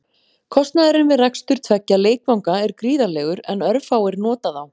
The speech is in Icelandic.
Kostnaðurinn við rekstur tveggja leikvanga er gríðarlegur en örfáir nota þá.